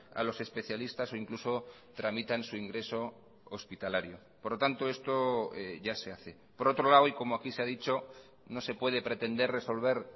a los especialistas o incluso tramitan su ingreso hospitalario por lo tanto esto ya se hace por otro lado y como aquí se ha dicho no se puede pretender resolver